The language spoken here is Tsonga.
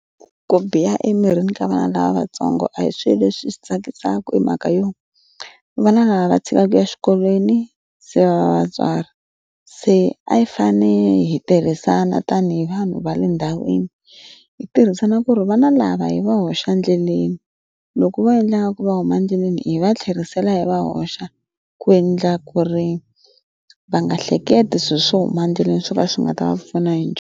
Ku biha emirini ka vana lavatsongo a hi swilo leswi swi tsakisaka hi mhaka yo vana lava va chikaka ya exikolweni se vatswari se a yi fane hi tirhisana tanihi vanhu va le ndhawini hi tirhisana ku ri va na lava hi va hoxa endleleni loko va endla nga ku va huma endleleni hi va tlherisela hi va hoxa ku endla ku ri va nga hleketi swilo swo huma endleleni swo ka swi nga ta va pfuna hi.